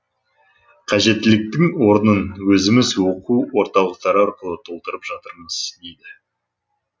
қажеттіліктің орнын өзіміз оқу орталықтары арқылы толтырып жатырмыз дейді